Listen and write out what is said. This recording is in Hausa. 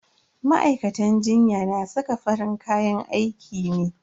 Ma'aikatan jinya na saka farin kayan aiki ne.